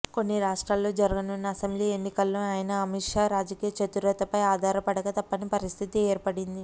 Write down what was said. కొన్ని రాష్ట్రాల్లో జరగనున్న అసెంబ్లీ ఎన్నికల్లోనూ ఆయన అమిత్ షా రాజకీయ చతురతపై ఆధారపడక తప్పని పరిస్థితి ఏర్పడింది